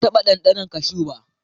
Ban taɓa ɗanɗana cashu ba.